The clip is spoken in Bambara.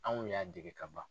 Anw y'a dege ka ban.